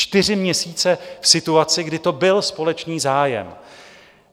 Čtyři měsíce v situaci, kdy to byl společný zájem.